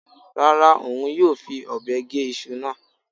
Rárá, òun yóò fi ọ̀bẹ gé iṣu náà.